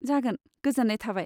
जागोन, गोजोन्नाय थाबाय।